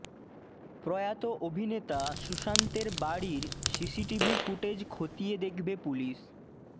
প্রয়াত অভিনেতা সুশান্তের বাড়ির সিসিটিভি ফুটেজ খতিয়ে দেখবে পুলিশ